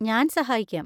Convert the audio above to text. ഞാൻ സഹായിക്കാം.